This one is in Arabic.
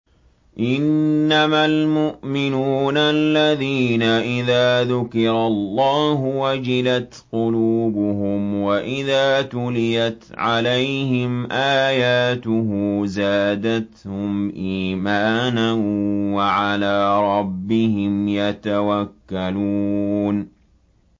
إِنَّمَا الْمُؤْمِنُونَ الَّذِينَ إِذَا ذُكِرَ اللَّهُ وَجِلَتْ قُلُوبُهُمْ وَإِذَا تُلِيَتْ عَلَيْهِمْ آيَاتُهُ زَادَتْهُمْ إِيمَانًا وَعَلَىٰ رَبِّهِمْ يَتَوَكَّلُونَ